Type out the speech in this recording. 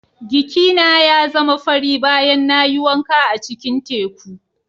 Giki na ya zama fari bayan na yi wanka a cikin teku.